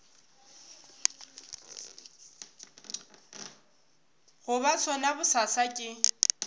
go ba sona bosasa ke